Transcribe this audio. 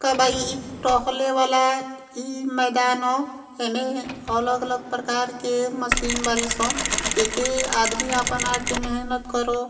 कब आई ई टॉकले वाला ई मैदान ह। एमें अलग अलग प्रकार के मशीन बाड़ी सन। जेके आदमी आपन आके मेहनत करो।